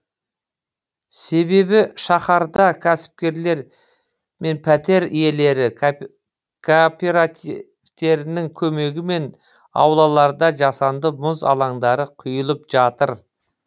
себебі шаһарда кәсіпкерлер мен пәтер иелері кооперативтерінің көмегімен аулаларда жасанды мұз алаңдары құйылып жатыр